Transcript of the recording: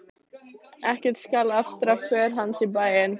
Ekkert skal aftra för hans í bæinn!